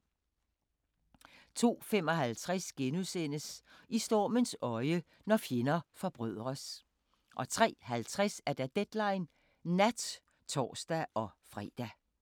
02:55: I stormens øje – når fjender forbrødres * 03:50: Deadline Nat (tor-fre)